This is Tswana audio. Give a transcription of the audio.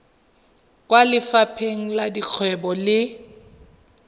kwa lefapheng la dikgwebo le